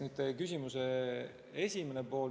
Nüüd küsimuse esimene pool.